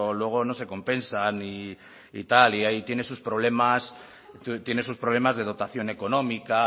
luego no se compensan y tal y ahí tiene sus problemas tiene sus problemas de dotación económica